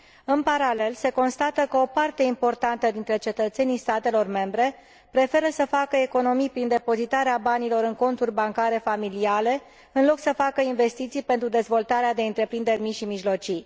În paralel, se constată că o parte importantă dintre cetățenii statelor membre preferă să facă economii prin depozitarea banilor în conturi bancare familiale în loc să facă investiții pentru dezvoltarea de întreprinderi mici și mijlocii.